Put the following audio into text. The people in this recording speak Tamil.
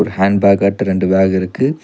ஹேண்ட் பேக்காட்ட ரெண்டு பேக் இருக்கு.